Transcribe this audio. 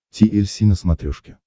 ти эль си на смотрешке